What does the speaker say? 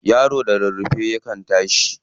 Yaro da rarrafe kan tashi.